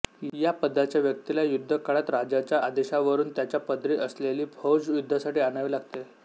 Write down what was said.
या पदाच्या व्यक्तिला युद्धकाळात राजाच्या आदेशावरुन त्याच्या पदरी असलेली फौज युद्धासाठी आणावी लागते